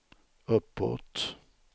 uppåt